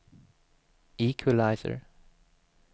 equalizer